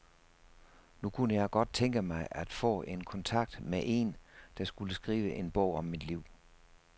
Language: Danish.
Nu kunne jeg godt tænke mig at få kontakt med en, der skulle skrive en bog om mit liv.